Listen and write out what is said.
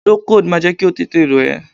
Procold máa jẹ́ kí o tẹ̀tẹ̀ rọ̀ ẹ́.